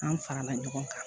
An farala ɲɔgɔn kan